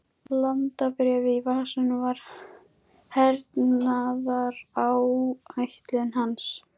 Landabréfið í vasanum var hernaðaráætlun hans.